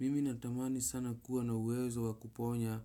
Mimi natamani sana kuwa na uwezo wa kuponya